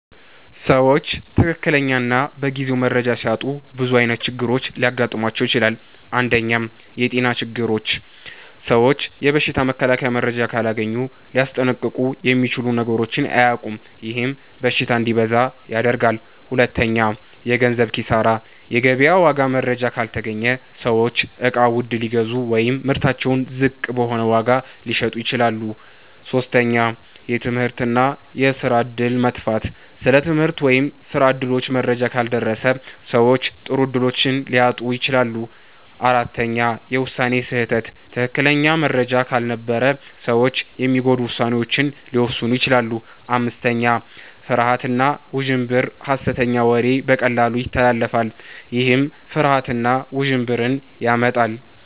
ሰዎች ትክክለኛ እና በጊዜው መረጃ ሲያጡ ብዙ ዓይነት ችግሮች ሊገጥሟቸው ይችላሉ። 1. የጤና ችግሮች ሰዎች የበሽታ መከላከያ መረጃ ካላገኙ ሊያስጠንቀቁ የሚችሉ ነገሮችን አያውቁም፤ ይህም በሽታ እንዲበዛ ያደርጋል። 2. የገንዘብ ኪሳራ የገበያ ዋጋ መረጃ ካልተገኘ ሰዎች እቃ ውድ ሊገዙ ወይም ምርታቸውን ዝቅ በሆነ ዋጋ ሊሸጡ ይችላሉ። 3. የትምህርት እና የስራ እድል መጥፋት ስለ ትምህርት ወይም ስራ እድሎች መረጃ ካልደረሰ ሰዎች ጥሩ እድሎችን ሊያጡ ይችላሉ። 4. የውሳኔ ስህተት ትክክለኛ መረጃ ካልነበረ ሰዎች የሚጎዱ ውሳኔዎችን ሊወስኑ ይችላሉ። 5. ፍርሃት እና ውዥንብር ሐሰተኛ ወሬ በቀላሉ ይተላለፋል፤ ይህም ፍርሃት እና ውዥንብር ያመጣል።